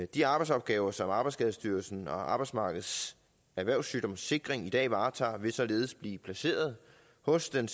de arbejdsopgaver som arbejdsskadestyrelsen og arbejdsmarkedets erhvervssygdomssikring i dag varetager vil således blive placeret hos den